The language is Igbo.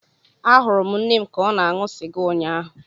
Ahụrụ m nne m ka ọ na-aṅụ sịga ụnyaahụ.